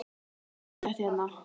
Það er svo fallegt hérna.